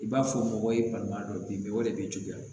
I b'a fɔ mɔgɔ ye balima dɔ bin bɛ o de b'i juguya